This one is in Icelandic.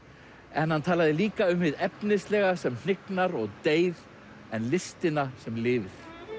en hann talaði líka um hið efnislega sem hnignar og deyr en listina sem lifir